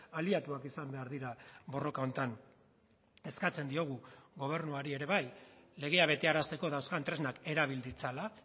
aliatuak izan behar dira borroka honetan eskatzen diogu gobernuari ere bai legea betearazteko dauzkan tresnak erabil ditzala